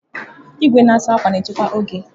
Igwe na-asa akwa na-echekwa oge.